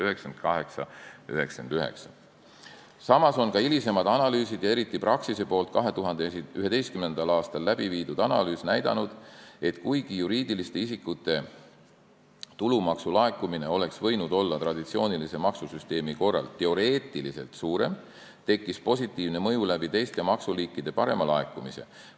Samas on ka hilisemad analüüsid ja eriti Praxise 2011. aastal läbi viidud analüüs näidanud, et kuigi juriidiliste isikute tulumaksu laekumine oleks traditsioonilise maksusüsteemi korral võinud teoreetiliselt suurem olla, tekkis positiivne mõju teiste maksuliikide parema laekumise tõttu.